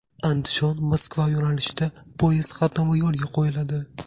Andijon–Moskva yo‘nalishida poyezd qatnovi yo‘lga qo‘yiladi.